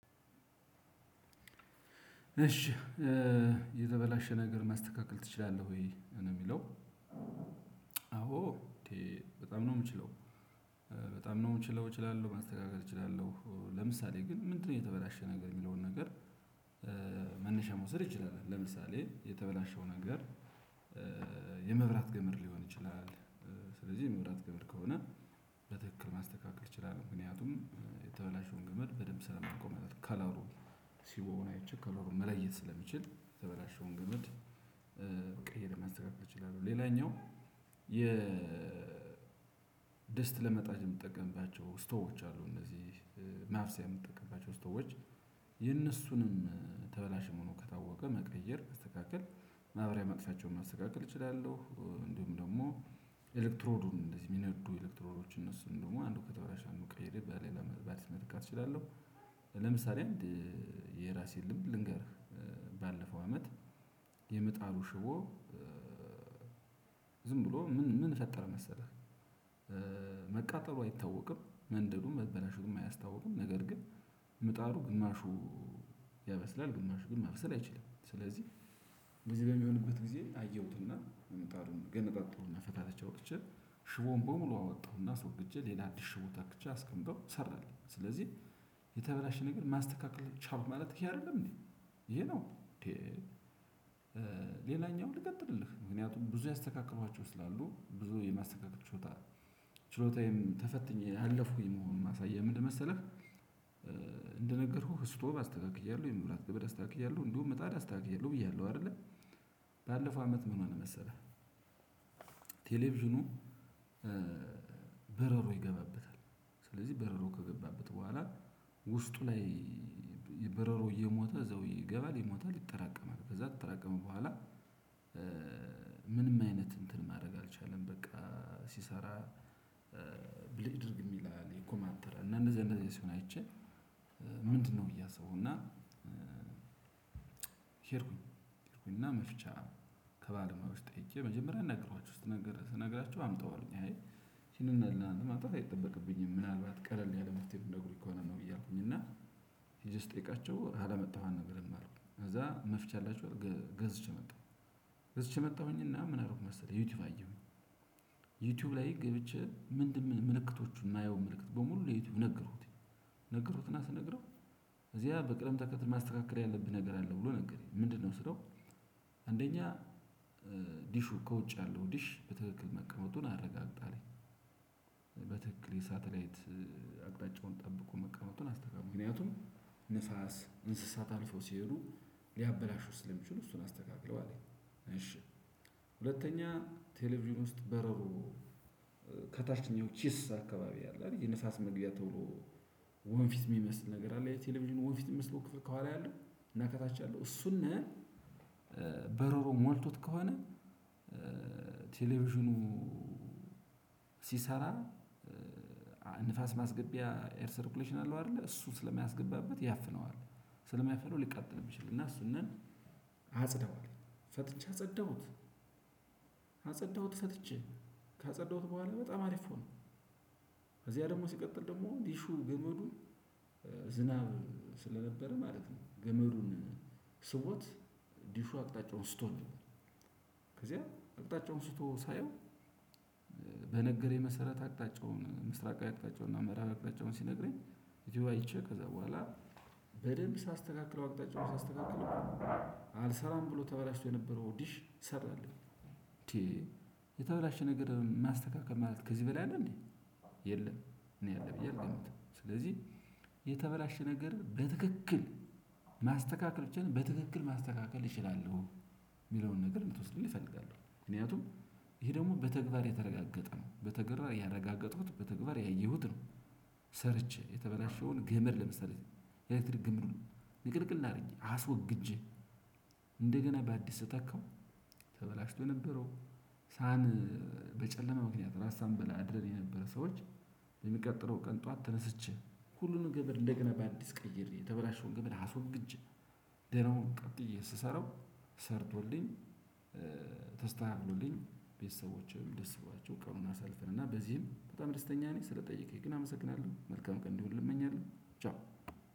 እሺ የተበላሸ ነገር ማስተካከል ትችላለህ? ወይ ነው የሚለው? አዎ እንዴ በጣም ነው የምችለው በጣም ነው የምችለው እችላለሁ ማስተካከል እችላለሁ። ለምሳሌ ግን ምንድነው የተበላሸ ነገር የሚለውን ነገር? መነሻ መውሰድ ይችላል ለምሳሌ የተበላሸው ነገር። የመብራት ገመድ ሊሆን ይችላል። ስለዚህ የመብራት ገመድ ከሆነ በትክክል ማስተካከል እችላለሁ ምክንያቱም የተበላሹን ገመድ በደንብ ስለማውቀው ማለት ከላሩን። ሽቦውን አይቼ ከለሩን መለየት ስለምችል የተበላሸውን ገመድ። ቀይሬ ማስተካከል እችላለሁ። ሌላኛው የ ድስት ለመጣድ የምንጠቀምባቸው ስቶቮች አሉ እነዚህ ማብሰያ የምንጠቀምባቸው ስቶቮች የነሱንም ተበላሽ መሆኑ ከታወቀ መቀየር መስተካከል ማብሪያ ማጥፊያቸውን መስተካከል እችላለሁ። እንዲሁም ደግሞ ኤሌክትሮሉን እንደዚህ የሚነዱ ኤሌክትሮኖችን እነሱን ደግሞ አንዱ ከተበላሸ አንዱ ቀይሬ በሌላ ባትሪ መተካት እችላለሁ። ለምሳሌ አንድ የራሴን ልምድ ልንገርህ። ባለፈው አመት የምጣዱ ሽቦ ዝም ብሎ ምን ምን ፈጠረ መሰለህ? መቃጠሉ አይታወቅም መንደዱም መበለሹቱም አያስታውቅም። ነገር ግን ምጣዱ ግማሹ ያበስላል ግማሹ ግን ማብሰል አይችልም። ስለዚህ እንደዚህ በሚሆንበት ጊዜ አየሁትና ምጣዱን ገነጣጠልኩ እና ፈታተትቼ አወጥቼ ሽቦውን በሙሉ አወጣሁና አስወግጄ ሌላ አዲስ ሽቦ ተክቼ አስቀምጠው ሰራለኝ። ስለዚህ የተበላሸ ነገር ማስተካከል ቻልኩ ማለት ይሄ አይደለም እንዴ ይሄ ነው እንዴ? ሌላኛው ልቀጥልልህ ምክንያቱም ብዙ ያስተካከልክዋቸው ስላሉ ብዙ የማስተካከል ችሎታ ችሎታዬም ተፈትኜ ያለፍኩኝ መሆኑን ማሳያ ምንድነው መሰለህ? እንደነገርኩህ ስቶቭ፣ አስተካክያለሁ የመብራት ገመድ፣ አስተካክያለው እንደውም ምጣድ፣ አስተካክያለው ብዬሃለው አይደለ? ባለፈው አመት ምን ሆነ መሰለህ? ቴሌቪዥኑ በረሮ ይገባበታል። ስለዚህ በረሮ ከገባበት በኋላ ውስጡ ላይ በረሮ እየሞተ እዛው ይገባል ይሞታል ይጠራቀማል ከዛ ከተጠራቀመ በኋላ። ምንም አይነት እንትን ማድረግ አልቻለም በቃ ሲሰራ ብልጭ ድርግም ይላል ይኮማተራል። እነ እንደዚህ እንደዚህ ሲሆን አይቼ። ምንድነው ብዬ አሰብኩ። እና ሄድኩኝ ሄድኩኝ እና መፍቻ ከባለሞያዎች ጠይቄ መጀመሪያ አናገርኩዋቸው ስነግራቸው አምጣው አሉኝ። አይ ለናንተ ማምጣት አይጠበቅብኝም ምናልባት ቀለል ያለ መፍትሄ ምትንትግሩኝ ከሆነ ነው ብዬ አልኩኝ እና ሄጄ ስጠይቃቸው ካላመጣሀው አንነግርህም አሉ። ከዛ መፍቻ አላቹ አልኩ ከዛ ገዝቼ መጣው። ገዝቼ መጣሁኝ እና ምን አደረኩ መሰልህ? ዩቱብ አየው። ዩቲዩብ ላይ ገብቼ ምንድነው ምልክቶቹን የማየው ምልክት በሙሉ ለዩቲዩብ ነገሩት። ነገርኩት እና ስነግረው ከዚያ በቅደም ተከትል ማስተካከል ያለብህ ነገር አለ ብሎ ነገረኝ። ምንድነው ስለው? አንደኛ ዲሹ ከ ውጭ ያለው ዲሽ በትክክል መቀመጡን አረጋግጥ አለኝ። የሳተላይት አቅጣጫውን ጠብቆ መቀመጡን አስተካክል ምክንያቱም ንፋስ፣ እንስሳት አልፈው ሲሄዱ ሊያበላሹት ስለሚችሉ እሱን አስተካክለው። አለኝ እሺ። ሁለተኛ ቴሌቪዥን ውስጥ በረሮ ከታችኛው ቺስ አካባቢ አለ አይደል? የንፋስ መግቢያ ተብሎ ወንፊት የሚመስል ነገር አለ የቴሌቪዥኑ ወንፊት የሚመስለው ክፍል ካዋላ ያለው እና ከታች ያለው እሱን በረሮ ሞልቶት ከሆነ ቴሌቪዥኑ ሲሰራ ንፋስ ማስገቢያ ኤር ሰርኩሌሽን አለው አይደለ እሱ ስለማያስገባበት ያፍነዋል። ስለሚያፍነው ሊቃጠልብህ ይችላል እና እሱንም አጽዳው አለኝ። ፈትቼ አጸዳሁት አጸዳሁት ፈትቼ ካጸዳሁት በኋላ በጣም አሪፍ ሆነ። ከዚያ ደግሞ ሲቀጥል ደግሞ ዲሹ ግመዱ ገመዱን ዝናብ ስለነበረ ማለት ነው ገመዱን ስቦት ዲሹ አቅጣጫውን ስቶ ነው። ከዚያ አቅጣጫውን ስቶ ሳየው በነገረኝ መሰረት አቅጣጫውን ምስራቃዊ አቅጣጫውን እና ምራባዊ ቅጣጫውን ሲነግረኝ ዩቱብ አይቼ ከዛ በኋላ በደንብ ሳስተካክለው አቅጣጫው ሳስተካክለው አልሰራም ብሎ ተበላሽቶ የነበረው ኦዲሽ ሰራለኝ። እንዴ? የተበላሸ ነገር ማስተካከል ማለት ከዚህ በላይ አለ እንዴ የለም? እኔ አለ ብዬ አልገምትም ስለዚህ የተበላሸ ነገር በትክክል ማስተካከል ከቻልን በትክክል ማስተካከል እችላለሁ። የሚለውን ነገር እንድቶስዱልኝ እፈልጋለው ምክንያቱም ይሄ ደግሞ በተግባር የተረጋገጠ ነው በተግባር ያረጋገጥኩት በተግባር ያየሁት ነው። ሰርቼ የተበላሸውን ገመድ ለመሳሌ ኤሌክትሪክ ገመዱን ንቅልቅል አድርጌ አስወግጄ እንደገና በአዲስ ስተካው ተበላሽቶ የነበረው ሳን በጨለማ ምክንያት ራት ሳንበላ አድረን የነበረ ሰዎች። የሚቀጥለው ቀን ጠዋት ተነስቼ ሁሉንም ገመድ እንደገና በአዲስ ቀይሬ የተበላሸውን ገመድ አሶግጄ ደናውን ቀጥዬ ስሰራው ሰርቶልኝ ተስተካክሎልኝ ቤተሰቦቼም ደስ በሎዋቸው ቀኑን አሳልፈን እና በዚህም በጣም ደስተኛ ነኝ። ስለጠየቀኝ ግን አመሰግናለሁ መልካም ቀን እንዲሁልህ እመኛለሁ። ቻው።